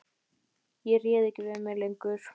Ég réð ekki við mig lengur.